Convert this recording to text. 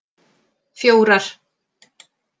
fjórar